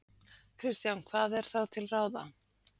Kristján: Hvað er þá til ráða?